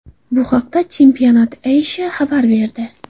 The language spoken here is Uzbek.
Bu haqda Championat Asia xabar berdi .